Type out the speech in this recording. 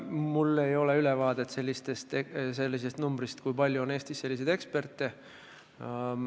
Mul ei ole ülevaadet, kui palju on Eestis selliseid eksperte.